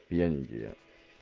индия